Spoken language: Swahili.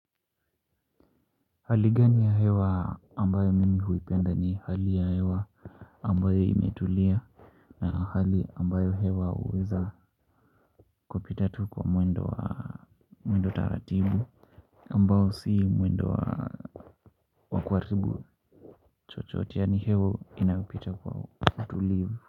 Hali gani ya hewa ambayo mimi huipenda ni hali ya hewa ambayo imetulia na hali ambayo hewa huweza kupita tu kwa mwendo wa mwendo taratibu ambao si mwendo wa kuharibu chochote yaani hewa inayopita kwa utulivu.